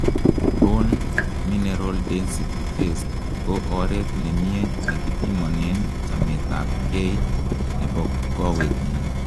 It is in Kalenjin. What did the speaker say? bone mineral density test ko oret nemie nekipimonen chamet ab gei nebo kowetngung